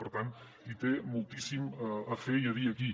per tant hi té moltíssim a fer i a dir aquí